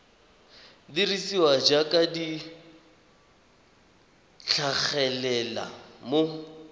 dirisiwa jaaka di tlhagelela mo